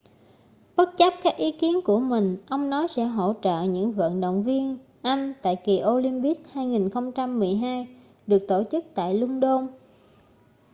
bất chấp các ý kiến của mình ông nói sẽ hỗ trợ những vận động viên anh tại kỳ olympics 2012 được tổ chức tại luân đôn